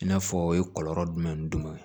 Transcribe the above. I n'a fɔ o ye kɔlɔlɔ jumɛn ni jumɛn ye